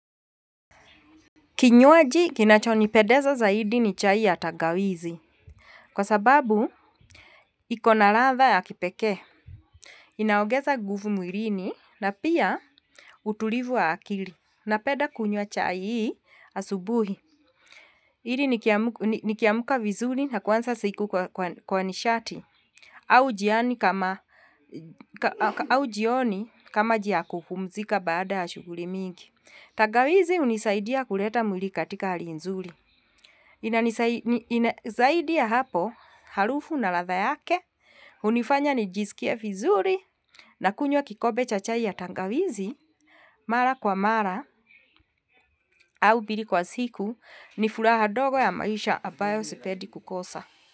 Kinywaji kinachonipendeza zaidi ni chai ya tangawizi kwa sababu iko na ladha ya kipekee. Inaongeza nguvu mwilini na pia utulivu wa akili napenda kunywa chai hii asubuhi. Ili nikiamka vizuri na kuanza siku kwa nishati au au jioni kama njia ya kupumzika baada ya shughuli mingi. Tangawizi hunisaidia kuleta mwili katika hali nzuri. Ina nisaidia zaidi ya hapo harufu na ladha yake, hunifanya nijisikie vizuri nakunywa kikombe cha chai ya tangawizi mara kwa mara au mbili kwa siku, ni furaha ndogo ya maisha ambayo sependi kukosa.